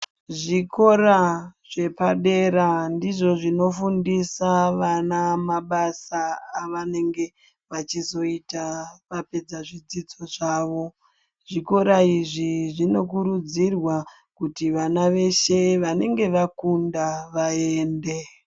Zvikora zvepadera ndizvo zvinofundisa vana mabasa avanenge vachizoita vapedza zvidzidzo zvavo zvikora izvi zvinokurudzirwa kuti vana veshe vanenge vakunda vaende.